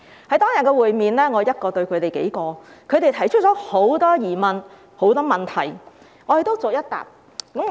在當天的會面中，我一人對他們數人，他們提出很多疑問和問題，我都逐一回答。